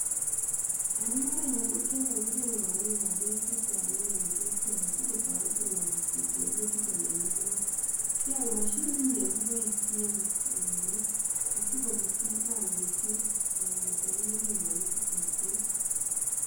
Isiken ono beekab kobiset ( ropta, keringet)?